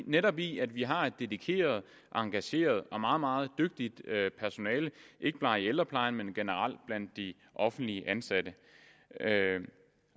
netop i at vi har et dedikeret engageret og meget meget dygtigt personale ikke bare i ældreplejen men generelt blandt de offentligt ansatte